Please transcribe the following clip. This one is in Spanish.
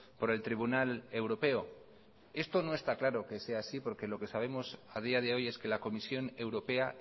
por el tribunal europeo esto no está claro que sea así porque lo que sabemos a día de hoy es que la comisión europea